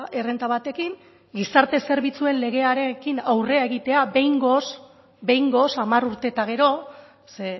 errenta batekin gizarte zerbitzuen legearekin aurrera egitea behingoz behingoz hamar urte eta gero ze